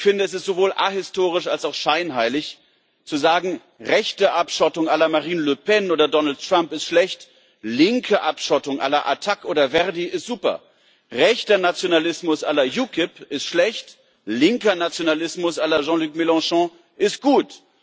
Ich finde, es ist sowohl ahistorisch als auch scheinheilig zu sagen Rechte Abschottung la Marine Le Pen oder Donald Trump ist schlecht, linke Abschottung la ATTAC oder Verdi ist super. Rechter Nationalismus la UKIP ist schlecht, linker Nationalismus la Jean Luc Mélenchon ist gut.